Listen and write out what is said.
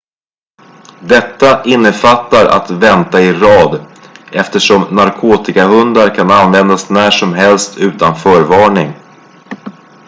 detta innefattar att vänta i rad eftersom narkotikahundar kan användas när som helst utan förvarning